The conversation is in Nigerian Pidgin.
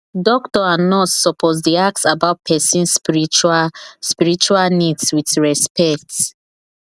doctor and nurse suppose dey ask about person spiritual spiritual needs with respect